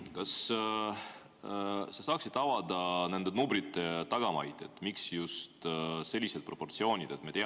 Kas sa saaksid avada nende numbrite tagamaid, et miks just sellised proportsioonid?